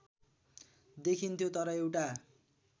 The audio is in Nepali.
देखिन्थ्यो तर एउटा